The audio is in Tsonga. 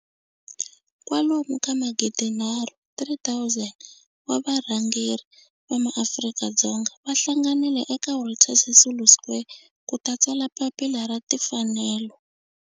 Kwalomu ka magidi nharhu, 3 000, wa varhangeri va maAfrika-Dzonga va hlanganile eka Walter Sisulu Square ku ta tsala Papila ra Timfanelo.